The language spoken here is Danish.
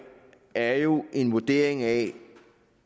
er jo en vurdering af